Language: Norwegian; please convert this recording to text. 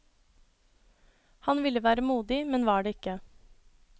Han ville være modig, men var det ikke.